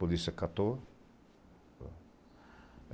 Polícia catou.